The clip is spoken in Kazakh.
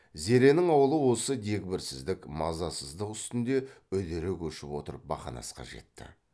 зеренің аулы осы дегбірсіздік мазасыздық үстінде үдере көшіп отырып бақанасқа жетті